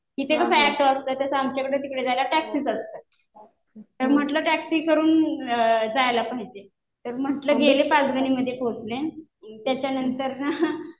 इथे कसं ऍटो असतं तसं आमच्याकडे तिकडे जायला टॅक्सीच असतात. तर म्हणलं टॅक्सी करून जायला पाहिजे. तर म्हणलं गेले पाचगणीमध्ये पोचले. त्याच्यानंतर ना